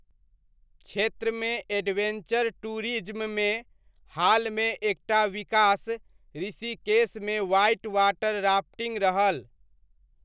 क्षेत्रमे एडवेञ्चर टूरिज्ममे हालमे एक टा विकास ऋषिकेशमे व्हाइट वाटर राफ्टिङ्ग रहल।